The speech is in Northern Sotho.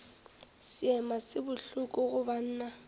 seema se bohloko go banna